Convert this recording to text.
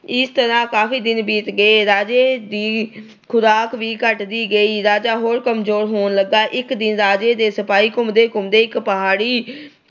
ਇਸ ਤਰ੍ਹਾਂ ਕਾਫੀ ਦਿਨ ਬੀਤ ਗਏ। ਰਾਜੇ ਦੀ ਖੁਰਾਕ ਵੀ ਘਟਦੀ ਗਈ। ਰਾਜਾ ਹੋਰ ਕਮਜੋਰ ਹੋਣ ਲੱਗਾ। ਇੱਕ ਦਿਨ ਰਾਜੇ ਦੇ ਸਿਪਾਹੀ ਘੁੰਮਦੇ-ਘੁੰਮਦੇ ਇੱਕ ਪਹਾੜੀ